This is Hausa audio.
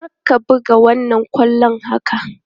Kar ka buga wannan bulon haka!